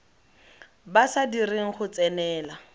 ba sa direng go tsenela